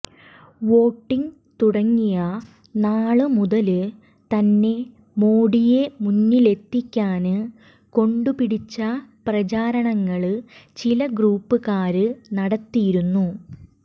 voting തുടങ്ങിയ നാള് മുതല് തന്നെ മോഡിയെ മുന്നിലെത്തിക്കാന് കൊണ്ടുപിടിച്ച പ്രചാരണങ്ങള് ചില ഗ്രൂപ്പുകാര് നടത്തിയിരുന്നു